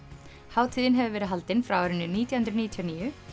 hátíðin hefur verið haldin frá árinu nítján hundruð níutíu og níu